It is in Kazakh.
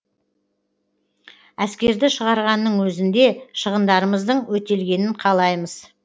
әскерді шығарғанның өзінде шығындарымыздың өтелгенін қалаймыз